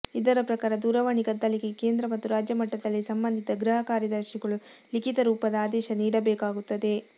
ಇದರ ಪ್ರಕಾರ ದೂರವಾಣಿ ಕದ್ದಾಲಿಕೆಗೆ ಕೇಂದ್ರ ಮತ್ತು ರಾಜ್ಯಮಟ್ಟದಲ್ಲಿ ಸಂಬಂಧಿತ ಗೃಹಕಾರ್ಯದರ್ಶಿಗಳು ಲಿಖಿತ ರೂಪದ ಆದೇಶ ನೀಡಬೇಕಾಗುತ್ತದೆ